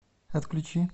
отключи